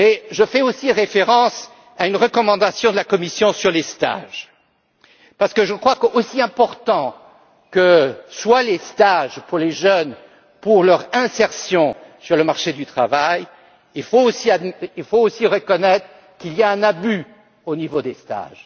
Je fais aussi référence à une recommandation de la Commission sur les stages parce que, selon moi, aussi importants que soient les stages pour les jeunes et pour leur insertion sur le marché du travail, il faut aussi reconnaître qu'il y a un abus en matière de stages.